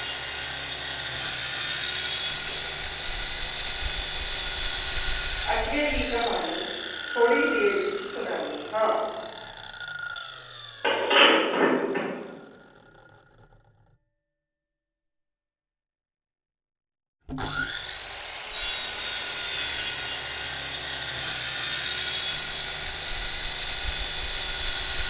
ਅੱਗੇ ਦੀ ਕਹਾਣੀ ਥੋੜੀ ਦੇਰ ਵਿੱਚ ਸੁਨਾਨੀ ਹਾਂ।